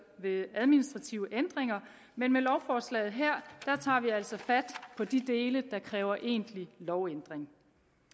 ved administrative ændringer men med lovforslaget her tager vi altså fat på de dele der kræver egentlig lovændring